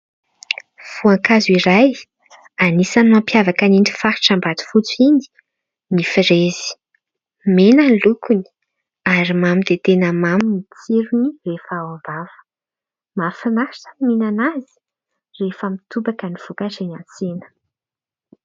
Foankazo iray anisan'ny mampihavaka iny faritra Ambatofotsy iny ny firezy. Mena ny lokony ary mamy dia tena mamy ny tsirony rehefa ao am-bava. Mahafinaritra ny mihinana azy rehefa mitobaka ny fokatra eny an-tsena.